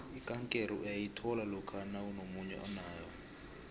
ikankere uyayithola lokha nakunomunye onayo